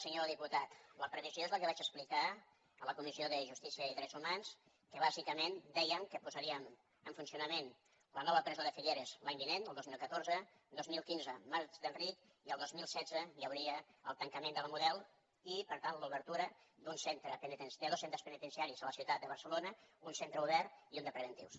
senyor diputat la previsió és la que vaig explicar en la comissió de justícia i drets humans que bàsicament dèiem que posaríem en funcionament la nova presó de figueres l’any vinent el dos mil catorze dos mil quinze mas d’enric i el dos mil setze hi hauria el tancament de la model i per tant l’obertura de dos centres penitenciaris a la ciutat de barcelona un centre obert i un de preventius